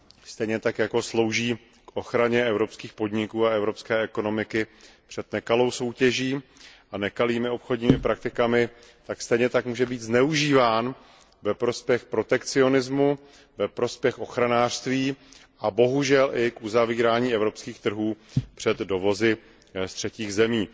Stejně tak jako slouží k ochraně evropských podniků a evropské ekonomiky před nekalou soutěží a nekalými obchodními praktikami, tak stejně tak může být zneužíván ve prospěch protekcionismu, ve prospěch ochranářství a bohužel i k uzavírání evropských trhů před dovozy z třetích zemí.